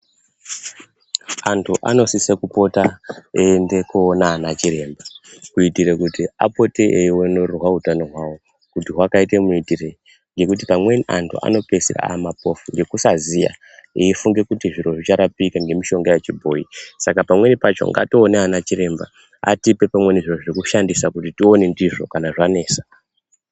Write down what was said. Antu anosise kupota eienda koona anachiremba kuitire kuti apote eionererwa utano hwavo kuti hwakaite muitirei ngekuti amweni antu anopedza amapofu ngekusaziya eifunge kuti zviro zvicharapika ngemishonga yechibhoyi saka pamweni pacho ngatiwo one ana chiremba atipe pamweni zviro zvekushandisa kuti tione ndizvo kana zvanesa.